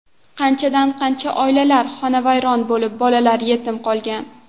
Qanchadan qancha oilalar xonavayron bo‘lib, bolalar yetim qolgan.